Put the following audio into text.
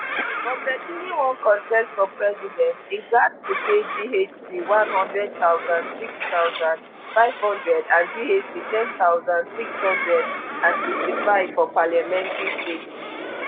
for pesin wey wan contest for president im gatz to pay ghc one hundred thousand six thousand, five hundred and ghc ten thousand six hundred and sixty-five for parliamentary seats